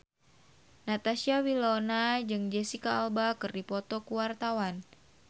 Natasha Wilona jeung Jesicca Alba keur dipoto ku wartawan